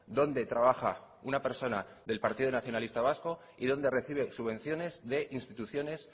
donde trabaja una persona del partido nacionalista vasco y donde recibe subvenciones de instituciones